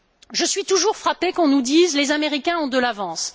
Je suis toujours frappée qu'on nous dise que les Américains ont de l'avance.